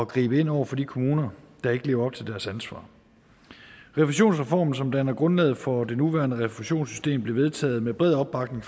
gribe ind over for de kommuner der ikke lever op til deres ansvar refusionsreformen som danner grundlaget for det nuværende refusionssystem blev vedtaget med bred opbakning